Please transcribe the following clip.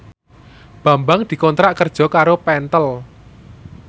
Bambang dikontrak kerja karo Pentel